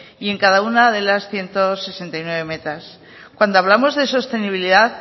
y en cada una de las ciento sesenta y nueve metas cuando hablamos de sostenibilidad